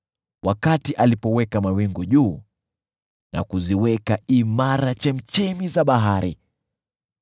wakati aliweka mawingu juu na kuziweka imara chemchemi za bahari,